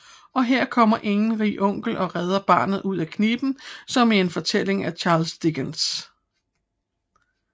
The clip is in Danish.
Og her er kommer ingen rig onkel og redder barnet ud af kniben som i en fortælling af Charles Dickens